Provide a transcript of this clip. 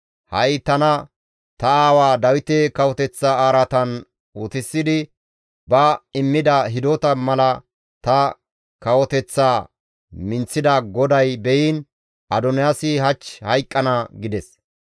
Ha7i tana ta aawaa Dawite kawoteththa araatan utisidi ba immida hidota mala ta kawoteththaa minththida GODAY beyiin Adoniyaasi hach hayqqana!» gides.